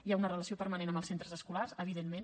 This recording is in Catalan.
hi ha una relació permanent amb els centres escolars evidentment